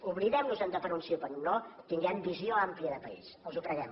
oblidemnos de per un sí o per un no tinguem visió àmplia de país els ho preguem